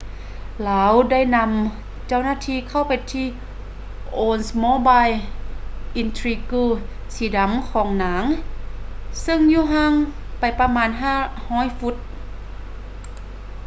ລາວໄດ້ນຳເຈົ້າໜ້າທີ່ເຂົ້າໄປທີ່ oldsmobile intrigue ສີດຳຂອງນາງເຊິ່ງຢູ່ຫ່າງໄປປະມານ 500 ຟຸດ